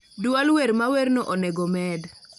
duol wer mawerno onego med